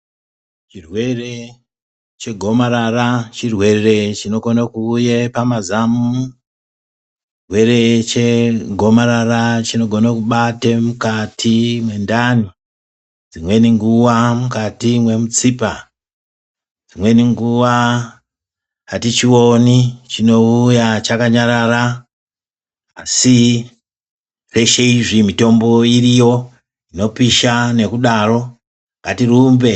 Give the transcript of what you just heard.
Zvirwere chegomarara chirwere chingawuye pamazamu, chirwere chegomarara chinogona kubate mukati mentani ,dzimweni nguva mukati memutsipa .Dzimweni nguva hatichiwoni chinowuya chakanyarara asi zveshe izvi mitombo iriyo inopisha ,nekudaro ngatirumbe.